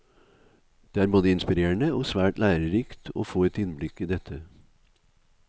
Det er både inspirerende og svært lærerikt å få et innblikk i dette.